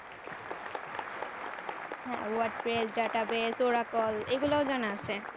হ্যাঁ word space, data base, oracle এগুল জানা আছে